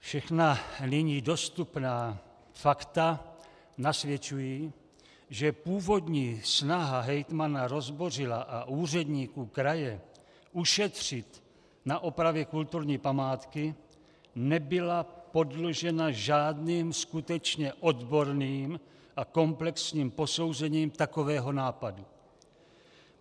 Všechna nyní dostupná fakta nasvědčují, že původní snaha hejtmana Rozbořila a úředníků kraje ušetřit na opravě kulturní památky nebyla podložena žádným skutečně odborným a komplexním posouzením takového nápadu.